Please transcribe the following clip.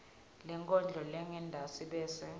lenkondlo lengentasi bese